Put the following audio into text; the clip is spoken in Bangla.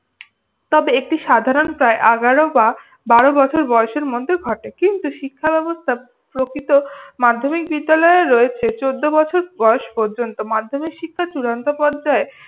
তবে একটি সাধারণ প্রায় এগারো বা বারো বছর বয়সের মধ্যে ঘটে। কিন্তু শিক্ষা ব্যবস্থা প্রকৃত মাধ্যমিক বিদ্যালয়ের রয়েছে চোদ্দ বছর বয়স পর্যন্ত। মাধ্যমিক শিক্ষার চূড়ান্ত পর্যায়ে